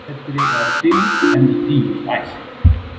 Betri er dyggð en dýr ætt.